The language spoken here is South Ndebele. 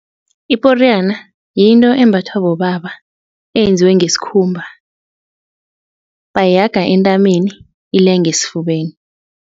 Iporiyana yinto embathwa bobaba eyenziwe ngesikhumba. Bayihaga entameni ilenge esifubeni.